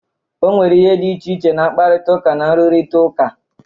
O nwere ihe dị iche na mkparịta ụka na nrụrịta ụka.